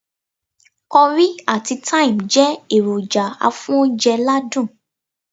Currie àti Time jé èròjà afóúnje ládùn